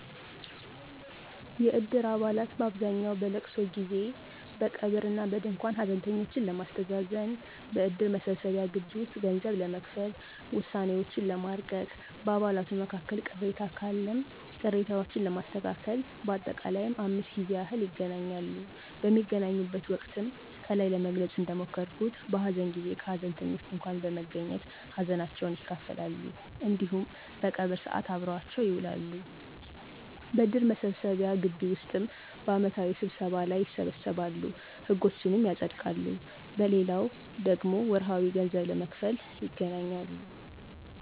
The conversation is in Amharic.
የእድር አባላት በአብዛኛው በእልቅሶ ጊዜ፦ በቀብር እና በድንኳን ሀዘንተኞችን ለማስተዛዘን፣ በእድር መሰብሰቢያ ግቢ ውስጥ ገንዘብ ለመክፈል፣ ውሳኔዎችን ለማርቀቅ፣ በአባላቱም መካከል ቅሬታ ካለ ቅሬታዎችን ለማስተካከል በአጠቃላይም 5 ጊዜ ያህል ይገናኛሉ። በሚገናኙበት ወቅትም ከላይ ለመግለጽ እንደሞከርኩት በሀዘን ጊዜ ከሀዘንተኞች ድንኳን በመገኘት ሀዘናቸውን ይካፈላሉ እንዲሁም በቀብር ሰዓት አብረዋቸው ይውላሉ። በእድር መሰብሰቢያ ግቢ ውስጥም በአመታዊ ስብሰባ ጊዜ ይሰበሰባሉ፤ ህጎችንም ያፀድቃሉ። በሌላው ደግሞ ወርሀዊ ገንዘብ ለመክፈል ይገናኛሉ።